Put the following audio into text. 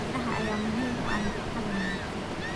Miraha ayaa muhiim u ah nafaqada wanaagsan.